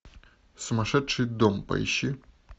сумасшедший дом поищи